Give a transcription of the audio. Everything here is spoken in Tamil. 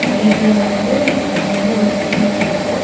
பிளேட்ல வந்து பிரியாணியில ஒரு பீஸ் இருக்கு.